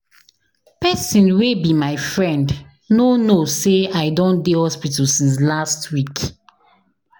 Pesin wey be my friend no know sey I don dey hospital since last week.